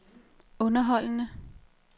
underholdende